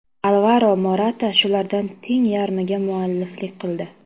Alvaro Morata shulardan teng yarmiga mualliflik qildi.